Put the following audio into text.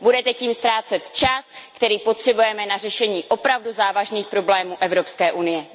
Budete tím ztrácet čas, který potřebujeme na řešení opravdu závažných problémů Evropské unie.